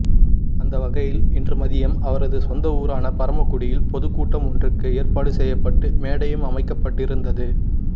அந்த வகையில் இன்று மதியம் அவரது சொந்த ஊரான பரமக்குடியில் பொதுக்கூட்டம் ஒன்றுக்கு ஏற்பாடு செய்யப்பட்டு மேடையும் அமைக்கப்பட்டிருந்தது